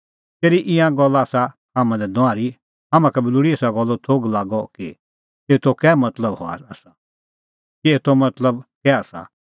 तेरी ईंयां गल्ला आसा हाम्हां लै नुआहरी हाम्हां का बी लोल़ी एसा गल्लो थोघ लागअ कि एतो कै मतलब आसा